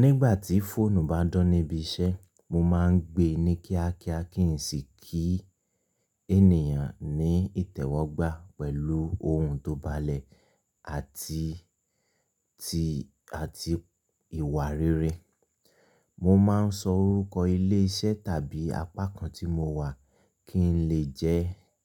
Nígbà tí fóònù bá dun níbi iṣẹ́, mo máa ń gbe ní kíákíá kí n sì kí ènìyàn ní ìtẹ́wọ́gbà pẹ̀lú ohùn tó bá lẹ̀ àti, àti ìwà rere. Mo ma ń sọ orúkọ ilé iṣẹ́ tàbí apá kan tí mo wà kí n lè jẹ́,